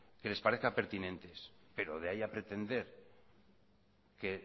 que les parezca pertinentes pero de ahí a pretender que